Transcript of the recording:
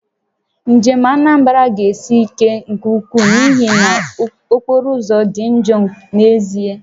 Njem Anambra ga-esi ike nke ukwuu n'ihi na okporoụzọ dị njọ n'ezie